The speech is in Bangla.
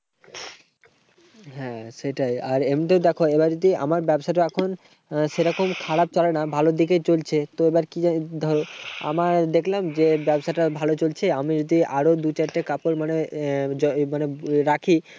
হ্যাঁ, সেটাই। আর এমনিতেও দেখো, এবার যদি আমার ব্যবসাটা এখন সেরকম খারাপ চলে না। ভালোর দিকেই চলছে। তো এবার কি যে ধরো, আমার দেখলাম যে, ব্যবসাটা ভালো চলছে। আমি যদি আরো দু চারটে কাপড় মানে রাখি।